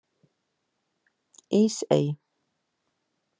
Ísey